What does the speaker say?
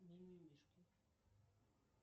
мимимишки